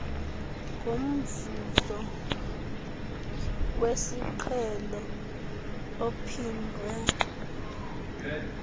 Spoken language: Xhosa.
ngomvuzo wesiqhelo ophindwe